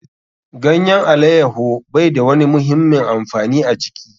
Ganyen alaiyaho bai da wani muhimmin amfani a jiki.